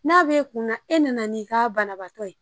N'a be kunna e nana ni ka banabaatɔ ye.